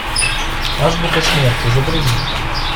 азбука смерти загрузи